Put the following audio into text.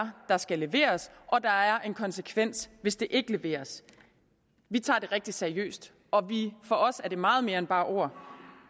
der skal leveres og at der er en konsekvens hvis det ikke leveres vi tager det rigtig seriøst og for os er det meget mere end bare ord